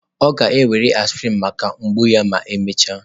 Ọ ga-ewere aspirin maka mgbu ya ma emechaa.